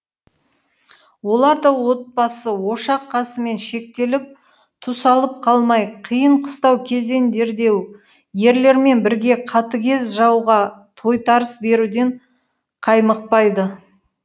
олар да отбасы ошақ қасымен шектеліп тұсалып қалмай қиын қыстау кезеңдерде ерлермен бірге қатігез жауға тойтарыс беруден қаймықпайды